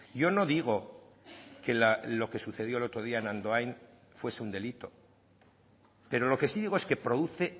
yo no digo que lo que sucedió el otro día en andoain fuese un delito pero lo que sí digo es que produce